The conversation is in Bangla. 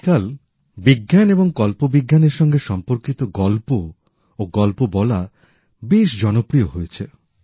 আজকাল বিজ্ঞান এবং কল্পবিজ্ঞানের সঙ্গে সম্পর্কিত গল্প বেশ জনপ্রিয় হয়েছে